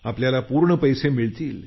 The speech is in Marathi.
आपल्याला पूर्ण पैसे मिळतील